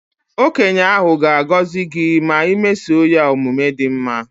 Okenye ahụ ga agọzị gị ma i mesoo ya omume dị mma